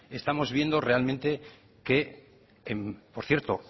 estamos viendo realmente que por cierto